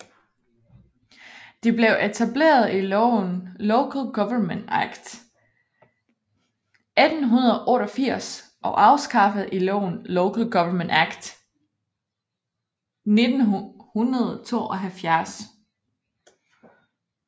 De blev etableret i loven Local Government Act 1888 og afskaffet i loven Local Government Act 1972